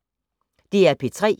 DR P3